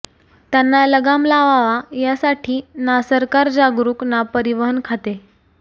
त्यांना लगाम लावावा यासाठी ना सरकार जागरुक ना परिवहन खाते